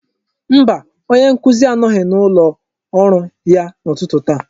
Mba, onye nkuzi anọghị n'ụlọ ọrụ ya n'ụtụtụ a.